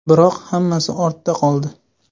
Biroq hammasi ortda qoldi.